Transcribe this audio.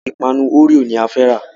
Ìpanu Oreo ni a fẹ́ rà.